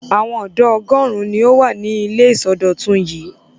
Àwọn ọ̀dọ́ ọgọ́rùn-ún ni ó wà ní ilé ìsọdọ̀tun yìí.